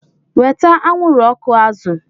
Weta anwụrụ ọkụ azụ!